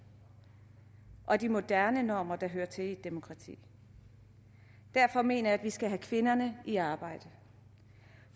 og de moderne normer der hører til i et demokrati derfor mener jeg vi skal have kvinderne i arbejde